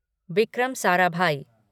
Vikram Sarabhai